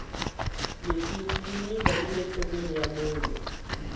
misisi yi mila nile nhlokweni ya munhu